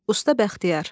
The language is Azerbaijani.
Usta Bəxtiyar.